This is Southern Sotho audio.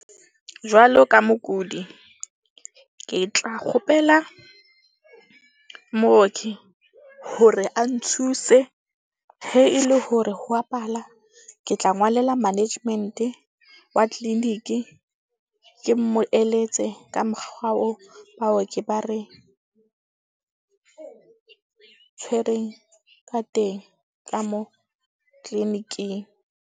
Jwalo ka mokudi, ke tla kgopela mooki hore a nthuse he e le hore ho a pala ke tla ngwalela management-e wa clinic-i. Ke mo eletse ka mokgwa oo baoki ba re tshwereng ka teng ka moo clinic-ing.